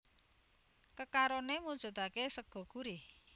Kekaroné mujudaké sega gurih